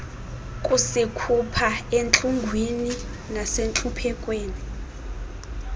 kusikhupha entlungwini nasentluphekweni